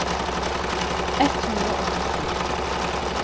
ett hundre og åttitre